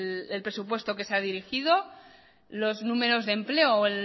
el presupuesto que se ha dirigido los números de empleo o